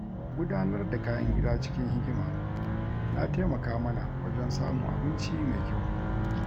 Gudanar da kayan gida cikin hikima ya taimaka mana wajen samun abinci mai kyau.